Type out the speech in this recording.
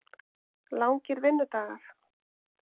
Langir vinnudagar?